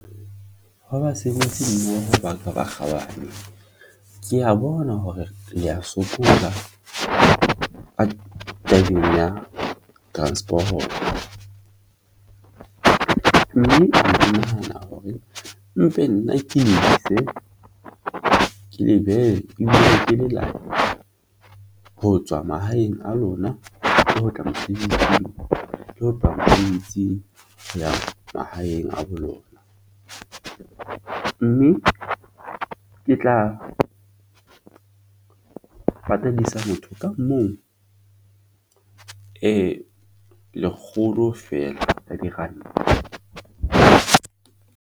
Hwa, basebetsi mmoho baka ba kgabane, ke ya bona hore le ya sokola ka tabeng ya transporoto mme ke nahana hore mpe nna ke le ise ke le behe abe le lelapa. Ho tswa mahaeng a lona, ho tla mosebetsi le ho tloha moo itsing ho ya mahaeng a bo lona, mme ke tla patadisa motho ka mong lekgolo feela a diranta.